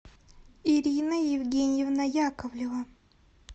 ирина евгеньевна яковлева